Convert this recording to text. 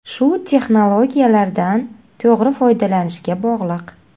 Shu texnologiyalardan to‘g‘ri foydalanishga bog‘liq.